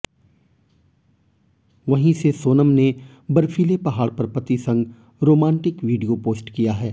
वहीं से सोनम ने बर्फीले पहाड़ पर पति संग रोमांटिक वीडियो पोस्ट किया है